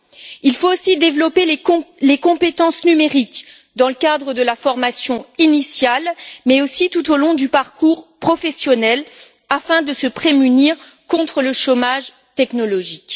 Deuxièmement, il faut développer les compétences numériques dans le cadre de la formation initiale, mais aussi tout au long du parcours professionnel, afin de se prémunir contre le chômage technologique.